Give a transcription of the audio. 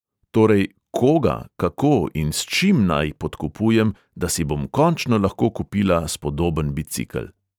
Torej – koga, kako in s čim naj podkupujem, da si bom končno lahko kupila spodoben bicikel.